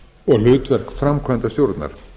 og hlutverk framkvæmdastjórnar